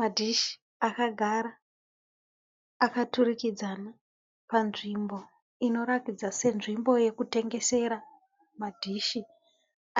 Madhishi akagara akaturikidzana panzvimbo inoratidza senzvimbo yekutengesera madhishi